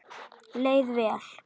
Leið vel.